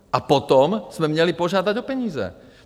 A potom jsme měli požádat o peníze.